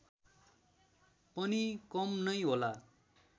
पनि कम नै होला